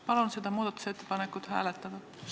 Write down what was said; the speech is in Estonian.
Palun seda muudatusettepanekut hääletada!